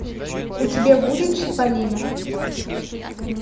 у тебя будет чиполлино